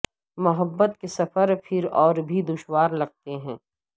محبت کے سفر پھر اور بھی دشوار لگتے ہیں